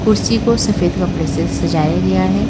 कुर्सी को सफेद कपड़े से सजाया गया है।